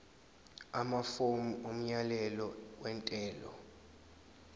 amafomu omyalelo wentela